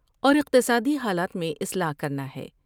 اور اقتصادی حالات میں اصلاح کرنا ہے ۔